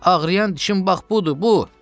Ağrıyan dişin bax budur, bu!